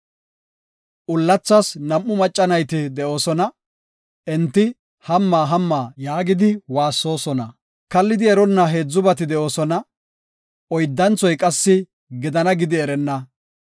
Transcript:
Ullathas nam7u macca nayti de7oosona; enti, “Hamma! Hamma!” yaagidi waassoosona. Kallidi eronna heedzubati de7oosona; oyddanthoy qassi “Gidana” gidi erenna.